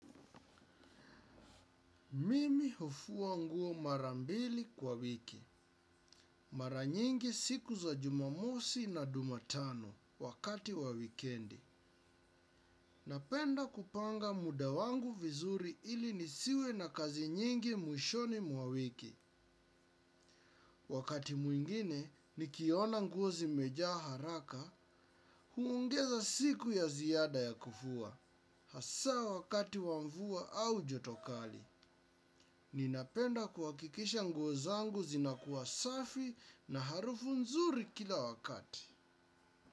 Mimi hufua nguo marambili kwa wiki. Mara nyingi siku za jumamosi na jumatano wakati wa wikendi. Napenda kupanga muda wangu vizuri ili nisiwe na kazi nyingi mwishoni mwa wiki. Wakati mwingine, nikiona nguo zimejaa haraka, huongeza siku ya ziyada ya kufua. Hasa wakati wa mvua au joto kali. Ninapenda kuwakikisha nguo zangu zinakuwa safi na harufu nzuri kila wakati.